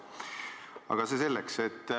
Aga see selleks.